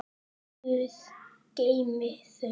Guð geymi þau.